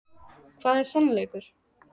Hvað er sannleikur?